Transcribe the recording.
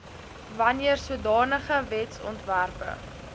wanneer sodanige wetsontwerpe